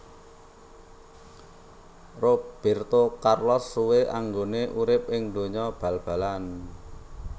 Roberto Carlos suwe anggone urip ing donya bal balan